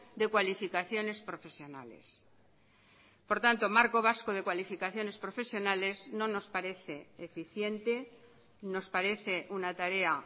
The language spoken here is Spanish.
de cualificaciones profesionales por tanto marco vasco de cualificaciones profesionales no nos parece eficiente nos parece una tarea